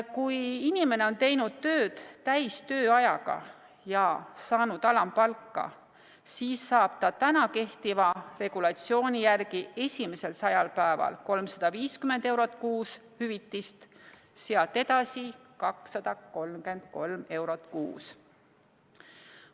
Kui inimene on teinud tööd täistööajaga ja saanud alampalka, siis saab ta täna kehtiva regulatsiooni järgi esimesel 100 päeval 350 eurot kuus hüvitist, sealt edasi 233 eurot kuus.